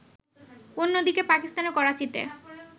অন্যদিকে, পাকিস্তানের করাচীতে